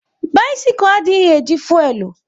Bisikul adịghị e ji fuelu